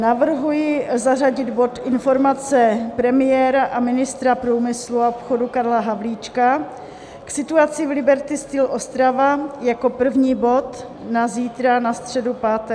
Navrhuji zařadit bod Informace premiéra a ministra průmyslu a obchodu Karla Havlíčka k situaci v Liberty Steel Ostrava jako první bod na zítra na středu 5. května.